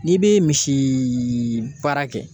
N'i bɛ misiiii baara kɛ.